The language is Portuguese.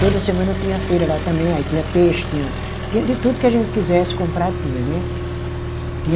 Toda semana tinha feira lá também, aí tinha peixe, tinha, tinha de tudo que a gente quisesse comprar, tinha, né?